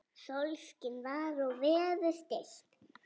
Sólskin var og veður stillt.